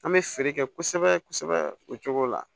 An bɛ feere kɛ kosɛbɛ kosɛbɛ o cogo la